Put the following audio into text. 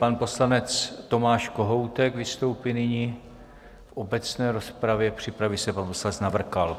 Pan poslanec Tomáš Kohoutek vystoupí nyní v obecné rozpravě, připraví se pan poslanec Navrkal.